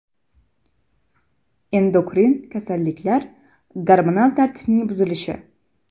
Endokrin kasalliklar (gormonal tartibning buzilishi).